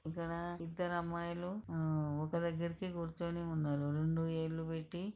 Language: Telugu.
ఇక్కడ ఇద్దరమ్మాయిలు ఆ ఒక దగ్గరికి కూర్చొని ఉన్నారు. రెండు ఏళ్లు పెట్టి --